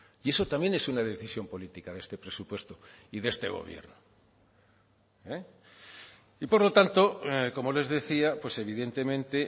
y eso también es una decisión política de este presupuesto y de este gobierno y por lo tanto como les decía pues evidentemente